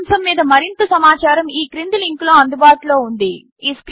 ఇదే అంశం మీద మరింత సమాచారం ఈ క్రింది లింకులో అందుబాటులో ఉంది httpspoken tutorialorgNMEICT Intro